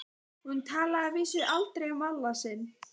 Hún talaði að vísu aldrei um Alla sinn.